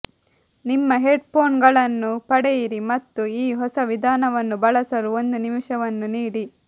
ನಿಮ್ಮ ಹೆಡ್ಫೋನ್ಗಳನ್ನು ಪಡೆಯಿರಿ ಮತ್ತು ಈ ಹೊಸ ವಿಧಾನವನ್ನು ಬಳಸಲು ಒಂದು ನಿಮಿಷವನ್ನು ನೀಡಿ